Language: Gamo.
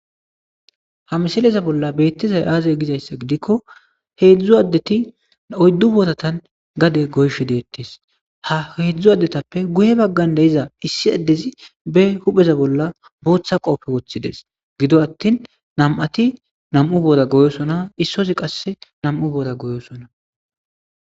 Ha misilezan bolla betizays azegidaysa gidiko hezu adeti oyidu borata gade goyishe detes ha hezu adetape guye bagara diza issi adezi be huphe za bolla botha kopiya wothides gido atini na'ati na'mu bora goyosona issozi qasi na'mu bora goyosona